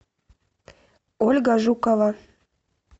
ольга жукова